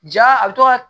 Ja a bɛ to ka